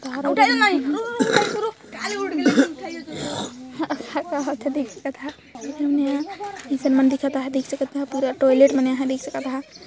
देख सकत ह देख सकत ह पूरा टॉयलेट बने ह देख सकत ह।